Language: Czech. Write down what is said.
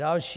Další.